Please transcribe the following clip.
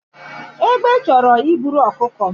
Egbe chọrọ iburu ọkụkọ m